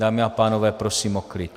Dámy a pánové, prosím o klid.